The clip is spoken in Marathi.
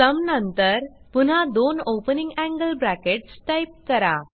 सुम नंतर पुन्हा दोन ओपनिंग एंगल ब्रॅकेट्स टाईप करा